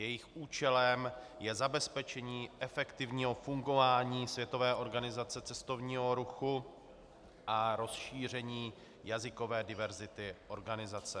Jejich účelem je zabezpečení efektivního fungování Světové organizace cestovního ruchu a rozšíření jazykové diverzity organizace.